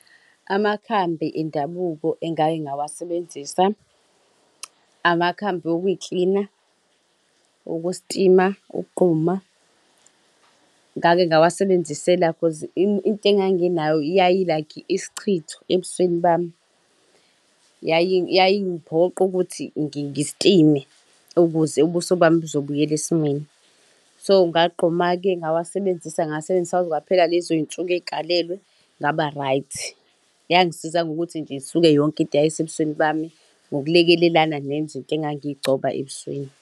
Amakhambi endabuko engake ngawasebenzisa amakhambi okuyiklina okusitima ukugquma. Ngake ngawasebenzisela cause into engiyibonayo yayi-like isichitho ebusweni bami, yayingiphoqa ukuthi ngistime, ukuze ususo bami buzobuyela esimweni. So ngagquma-ke ngawasebenzisa ngasebenzisa kwaze kwaphela lezo yinsuku ezikalelwe ngaba-right. Yangisiza ngokuthi nje isuke yonke into eyayisebusweni bami ngokulekelelana nezinto engangiyigcoba ebusweni.